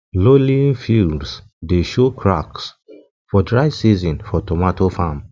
lowlying fields dey show show cracks for dry season for tomato farm